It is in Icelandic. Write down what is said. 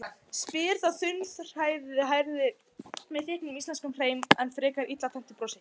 spyr sá þunnhærði með þykkum íslenskum hreim og frekar illa tenntu brosi.